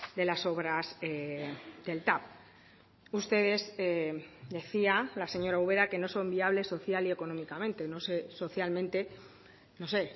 de las obras del tav ustedes decía la señora ubera que no son viables social y económicamente no sé socialmente no sé